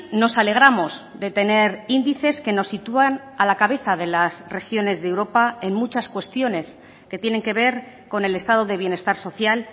nos alegramos de tener índices que nos sitúan a la cabeza de las regiones de europa en muchas cuestiones que tienen que ver con el estado de bienestar social